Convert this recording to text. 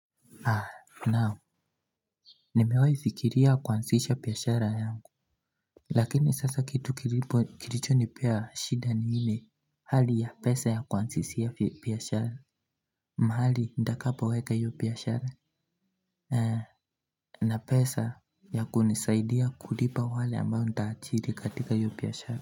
Naam. Nimewahi fikiria kuanzisha biashara yangu Lakini sasa kitu kilichonipea shida mimi ni hali ya pesa ya kuanzishia biashara. Mahali nitakapoweka hiyo biashara na pesa ya kunisaidia kulipa wale ambao nitaajiri katika hio biashara.